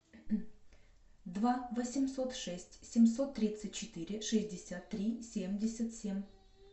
два восемьсот шесть семьсот тридцать четыре шестьдесят три семьдесят семь